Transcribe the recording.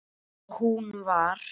Og hún var